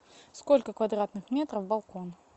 сколько квадратных метров балкон